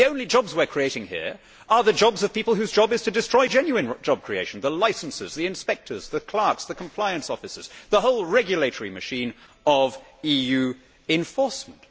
The only jobs we are creating here are the jobs of people whose job is to destroy genuine job creation the licensors, the inspectors, the clerks, the compliance officers, the whole regulatory machine of EU enforcement.